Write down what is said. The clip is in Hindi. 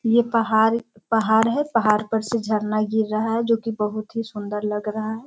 ये पहाड़ पहाड़ है पहाड़ पर से झरना गिर रहा है जो की बहुत ही सुंदर लग रहा है।